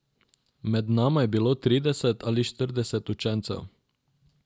Med nama je bilo trideset ali štirideset učencev.